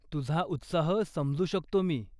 तुझा उत्साह समजू शकतो मी.